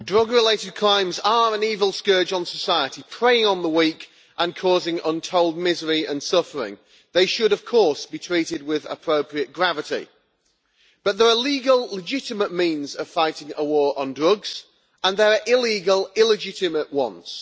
Mr President, drug related crimes are an evil scourge on society, preying on the weak and causing untold misery and suffering. They should, of course, be treated with appropriate gravity but there are legal, legitimate means of fighting a war on drugs, and there are illegal, illegitimate ones.